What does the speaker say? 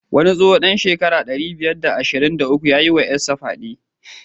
Wani tsoho dan shekara ɗari biyar da saba'in da uku yayi wa jikarsa fyade.